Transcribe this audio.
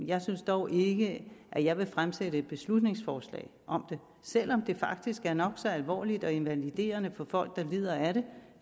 jeg synes dog ikke at jeg vil fremsætte et beslutningsforslag om det selv om det faktisk er nok så alvorligt og invaliderende for folk der lider af det